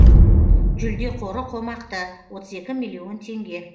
жүлде қоры қомақты отыз екі миллион теңге